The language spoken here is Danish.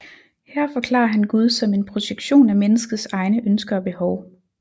Her forklarer han Gud som en projektion af menneskets egne ønsker og behov